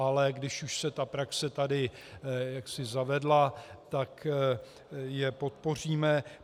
Ale když už se ta praxe tady jaksi zavedla, tak je podpoříme.